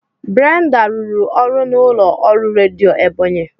Brenda rụrụ ọrụ n'ụlọ ọrụ redio Ebonyi